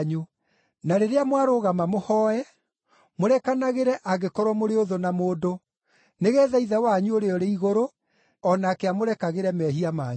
Na rĩrĩa mwarũgama mũhooe, mũrekanagĩre angĩkorwo mũrĩ ũthũ na mũndũ, nĩgeetha Ithe wanyu ũrĩa ũrĩ igũrũ o nake amũrekagĩre mehia manyu.” (